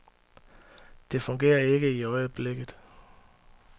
Det fungerer ikke i øjeblikket.